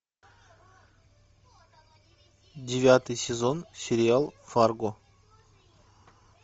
девятый сезон сериал фарго